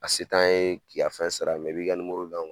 A se t'an ye k'i ka fɛn sara i b'i ka d'anw ma